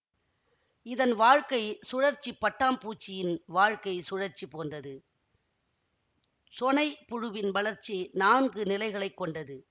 இதன் வாழ்க்கை சுழற்சி பட்டாம்பூச்சியின் வாழ்க்கை சுழற்சி போன்றது சொணை புழுவின் வளர்ச்சி நான்கு நிலைகளை கொண்டது